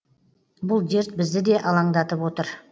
бұл дерт бізді де алаңдатып отыр